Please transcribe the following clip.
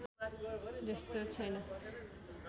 जस्तो छैन